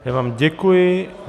Já vám děkuji.